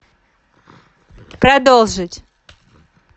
продолжить